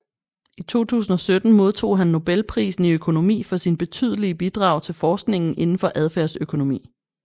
I 2017 modtog han Nobelprisen i økonomi for sine betydelige bidrag til forskningen indenfor adfærdsøkonomi